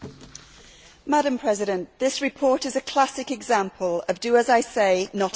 Madam President, this report is a classic example of do as I say not as I do.